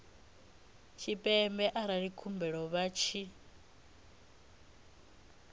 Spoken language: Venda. tshipembe arali khumbelo vha tshi